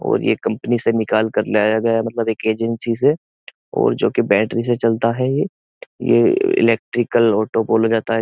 और ये कम्पनी से निकाल के लाया गया मतलब एक एजेंसी से और जोकि बैट्री से चलता है ये ये इलेक्ट्रिकल ऑटो बोला जाता --